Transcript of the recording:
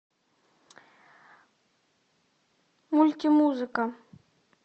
мультимузыка